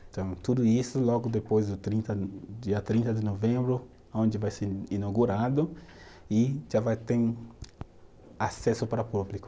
Então, tudo isso logo depois do trinta, dia trinta de novembro, onde vai ser inaugurado e já vai ter acesso para o público.